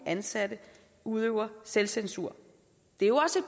ansatte udøver selvcensur det er jo også